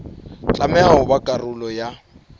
tlameha ho ba karolo ya